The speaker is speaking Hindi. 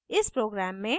इस प्रोग्राम में: